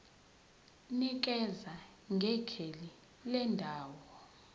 nikeza ngekheli lendawo